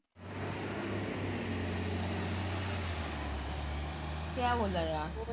ਕਿਆ ਬੋਲਾ ਯਾਰ